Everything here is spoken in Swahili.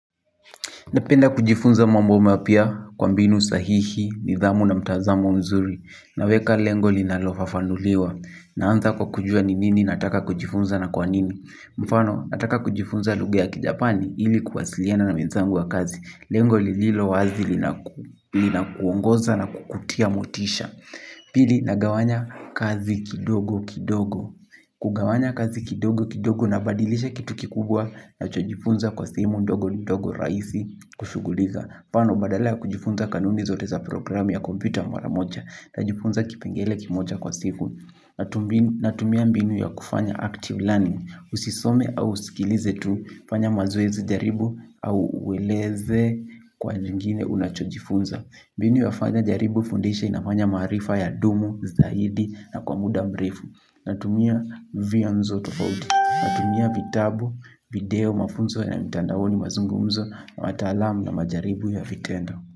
Napenda kujifunza mambo mapya kwa mbinu sahihi, nidhamu na mtazamo mzuri. Naweka lengo linalofafanuliwa. Naanza kwa kujua ni nini nataka kujifunza na kwa nini. Mfano, nataka kujifunza lugha ya kijapani ili kuwasiliana na wenzangu wa kazi. Lengo lililo wazi linakuongoza na kukutia motisha. Pili nagawanya kazi kidogo kidogo. Kugawanya kazi kidogo kidogo unabadilisha kitu kikubwa ninachojifunza kwa simu ndogo ndogo rahisi. Kushughulika, tano badala ya kujifunza kanuni zote za programu ya kompyuta mara moja najifunza kipengele kimoja kwa siku. Natumia mbinu ya kufanya active learning usisome au usikilize tu fanya mazoezi jaribu au ueleze kwa nyingine unachojifunza mbinu ya fanya jaribu fundisha inafanya maarifa yadumu zaidi na kwa muda mrefu natumia vyanzo tofauti natumia vitabu, video, mafunzo ya mitandaoni mazungumzo na wataalamu na majaribu ya vitendo.